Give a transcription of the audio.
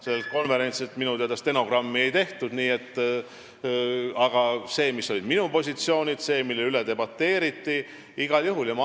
Sellel konverentsil minu teada stenogrammi ei tehtud, aga minu positsioonidest ja sellest, mille üle debateeriti, võib igal juhul rääkida.